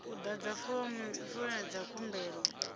u ḓadza fomo ya khumbelo